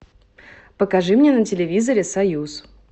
покажи мне на телевизоре союз